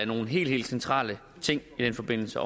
nogle helt helt centrale ting i den forbindelse